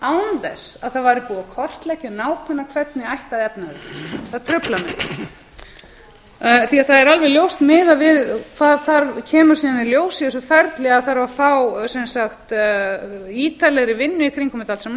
án þess að það væri búið að kortleggja nákvæmlega hvernig ætti að efna þau það truflar mig það er alveg ljóst miðað við hvað kemur síðan í ljós í þessu ferli að þarf að fá ítarlegri vinnu í kringum þetta allt saman ég geri mér grein